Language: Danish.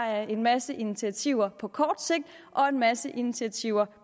er en masse initiativer på kort sigt og en masse initiativer